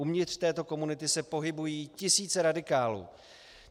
Uvnitř této komunity se pohybují tisíce radikálů.